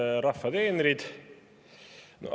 Head rahva teenrid!